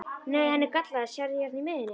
Nei, hann er gallaður, sérðu hérna í miðjunni.